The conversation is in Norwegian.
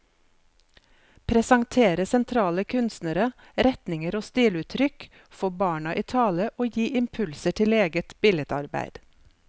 Presentere sentrale kunstnere, retninger og stiluttrykk, få barna i tale og gi impulser til eget billedarbeid.